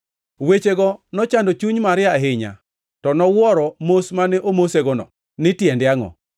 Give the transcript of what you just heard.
Wechego nochando chuny Maria ahinya, to nowuoro mos mane omosegono, ni tiende angʼo.